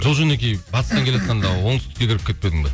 жол жөнекей батыстан келеатқанда оңтүстікке кіріп кетпедің бе